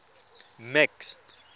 max